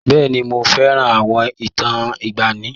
Bẹ́ẹ̀ni, mo fẹ́ràn àwọn ìtàn ìgbaanì.